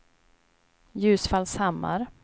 Ljusfallshammar